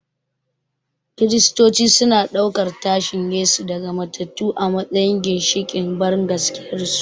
Kiristoci suna ɗaukan tashin Yesu daga matattu a matsayin ginshiƙin bangaskiyarsu.